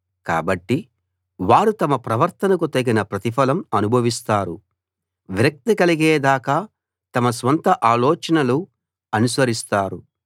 కాబట్టి వారు తమ ప్రవర్తనకు తగిన ప్రతిఫలం అనుభవిస్తారు విరక్తి కలిగే దాకా తమ స్వంత ఆలోచనలు అనుసరిస్తారు